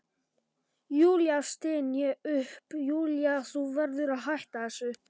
Júlía, styn ég upp, Júlía, þú verður að hætta þessu.